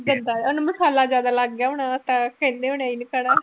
ਉਹਨੂੰ ਮਸਾਲਾ ਜ਼ਿਆਦਾ ਲੱਗ ਗਿਆ ਹੋਣਾ ਵਾਂ ਤਾਂ ਕਹਿੰਦੇ ਹੋਣੇ ਅਸੀਂ ਨੀ ਖਾਣਾ